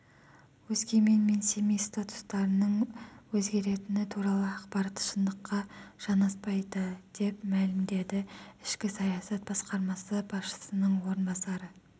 өскемен мен семей статустарының өзгеретіні туралы ақпарат шындыққа жанаспайды деп мәлімдеді ішкі саясат басқармасы басшысының орынбасары